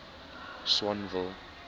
swanville